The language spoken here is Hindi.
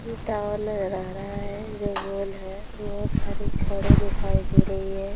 ये टॉवर लहरा रहा है जो गोल है बहुत सारी छड़े दिखाई दे रही है।